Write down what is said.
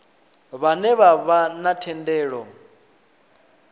vhane vha vha na thendelo